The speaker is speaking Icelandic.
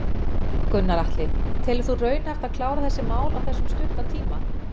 Gunnar Atli: Telur þú raunhæft að klára þessi mál á þessum stutta tíma?